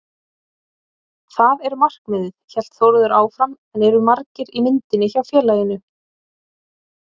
Það er markmiðið, hélt Þórður áfram en eru margir í myndinni hjá félaginu?